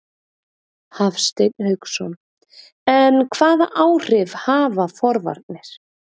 Hafsteinn Hauksson: En hvaða áhrif hafa forvarnir?